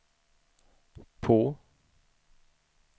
på